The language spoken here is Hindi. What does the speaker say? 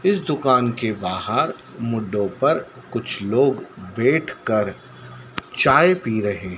इस दुकान के बाहर मुडो पर कुछ लोग बैठकर चाय पी रहे--